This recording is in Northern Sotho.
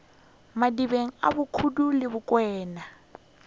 madibeng a bokubu le bokwena